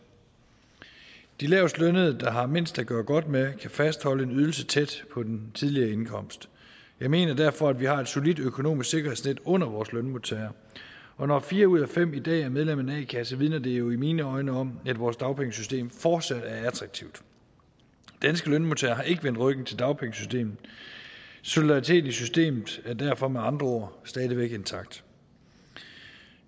de lavestlønnede der har mindst at gøre godt med kan fastholde en ydelse tæt på den tidligere indkomst jeg mener derfor at vi har et solidt økonomisk sikkerhedsnet under vores lønmodtagere og når fire ud af fem i dag er medlem af en a kasse vidner det jo i mine øjne om at vores dagpengesystem fortsat er attraktivt danske lønmodtagere har ikke vendt ryggen til dagpengesystemet solidariteten i systemet er derfor med andre ord stadig væk intakt